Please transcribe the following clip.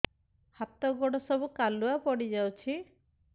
ହାତ ଗୋଡ ସବୁ କାଲୁଆ ପଡି ଯାଉଛି